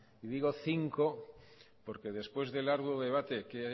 y digo cinco porque después del arduo debate que he